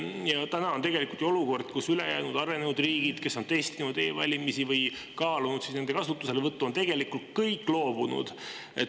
Ja täna on tegelikult ju olukord, kus ülejäänud arenenud riigid, kes on testinud e-valimisi või kaalunud nende kasutuselevõttu, on kõik loobunud.